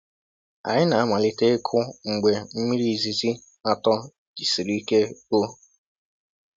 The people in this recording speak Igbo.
Anyị na-amalite ịkụ mgbe mmiri izizi atọ jisiri ike rụọ.